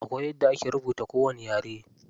Akwai yadda ake rubuta kowani yare.